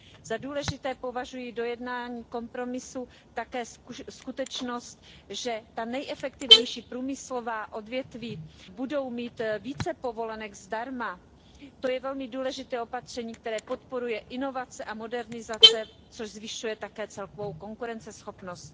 Za důležité považuji v dojednaném kompromisu také skutečnost, že ta nejefektivnější průmyslová odvětví budou mít více povolenek zdarma. To je velmi důležité opatření, které podporuje inovace a modernizaci, což zvyšuje také celkovou konkurenceschopnost.